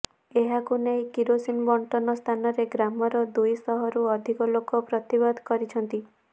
ଏହାକୁ ନେଇ କିରାେସିନି ବଣ୍ଟନ ସ୍ଥାନରେ ଗ୍ରାମର ଦୁଇ ଶହରୁ ଅଧିକ ଲୋକ ପ୍ରତିବାଦ କରିଛନ୍ତି